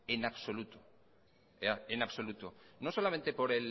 en absoluto no solamente